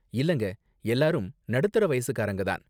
இல்லங்க, எல்லாரும் நடுத்தர வயசுக்காரங்க தான்.